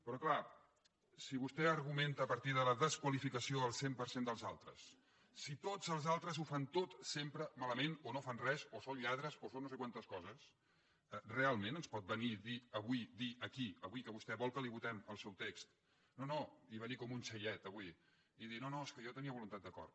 però clar si vostè argumenta a partir de la desqualificació al cent per cent dels altres si tots els altres ho fan tot sempre malament o no fan res o són lladres o són no sé quantes coses realment ens pot venir a dir avui aquí avui que vostè vol que li votem el seu text venir com un xaiet avui i dir no no és que jo tenia voluntat d’acord